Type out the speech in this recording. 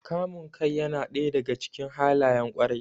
Kamun kai yana ɗaya daga cikin halayen ƙwarai.